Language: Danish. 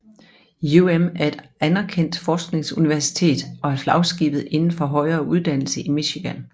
UM er et anerkendt forskningsuniversitet og er flagskibet indenfor højere uddannelse i Michigan